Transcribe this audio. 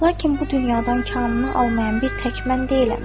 Lakin bu dünyadan kamını almayan bir tək mən deyiləm.